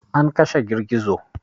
An kashe girgizo.